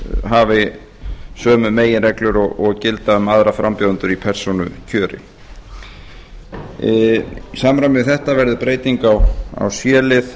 hafi sömu meginreglur og gilda um aðra frambjóðendur í persónukjöri í samræmi við þetta verði breyting á c lið